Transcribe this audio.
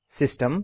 system